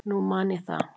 Nú man ég það.